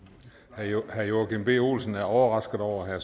herre joachim b olsen er overrasket over at